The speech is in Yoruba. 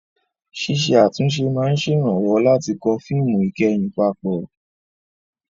Ṣíṣe àtúnṣe máa ń ṣèrànwọ́ láti kó fíìmù ìkẹyìn papọ̀.